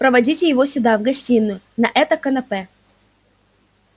проводите его сюда в гостиную на это канапе